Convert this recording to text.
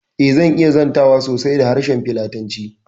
Eh, zan iya zantawa sosai da harshen filatanci